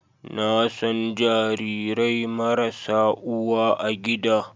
Na san jarirai marasa uwa a gida